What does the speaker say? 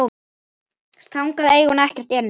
Þangað eigi hún ekkert erindi.